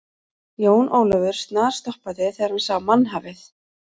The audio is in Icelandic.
Jón Ólafur snarstoppaði þegar hann sá mannhafið.